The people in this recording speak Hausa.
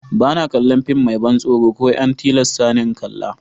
Ba na kalla fim mai ban tsoro ko ya an tillasa ni n'kalla.